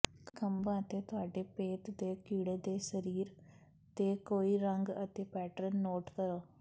ਖੰਭਾਂ ਅਤੇ ਤੁਹਾਡੇ ਭੇਤ ਦੇ ਕੀੜੇ ਦੇ ਸਰੀਰ ਤੇ ਕੋਈ ਰੰਗ ਅਤੇ ਪੈਟਰਨ ਨੋਟ ਕਰੋ